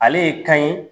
Ale ye kan ye